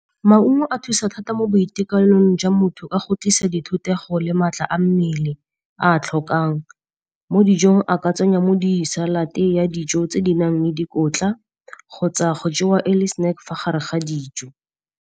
Maungo a thusa thata mo boitekanelong jwa motho ka go tlisa di thutego le maatla a mmele a tlhokang. Mo dijong a ka tsenya mo di-salad ya dijo tse di nang le dikotla kgotsa go jewa e le snack fa gare ga dijo.